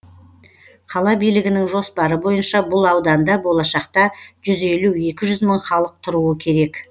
қала билігінің жоспары бойынша бұл ауданда болашақта жүз елу екі жүз мың халық тұруы керек